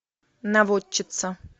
наводчица